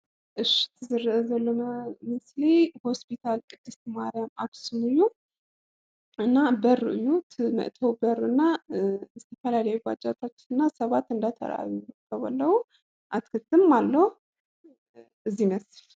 እሺ እዚ ዝረአ ዘሎ ምስሊ ሆስፒታል ቅድስት ማርያም ኣኽሱም እዩ፡፡ እና በሩ እዩ እቲ መእተዊ በሪና ዝተፈላለዩ ባጃጃትና ሰባት እንዳተራኣዩ ይርከቡ ኣለው፡፡ ኣትክልትም ኣሎ እዚ ይመስል፡፡